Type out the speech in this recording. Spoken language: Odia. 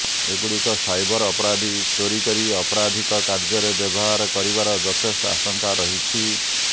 ଏଗୁଡ଼ିକ ସାଇବର୍ ଅପରାଧୀ ଚୋରି କରି ଅପରାଧିକ କାର୍ଯ୍ୟରେ ବ୍ୟବହାର କରିବାର ଯଥେଷ୍ଟ ଆଶଙ୍କା ରହିଛି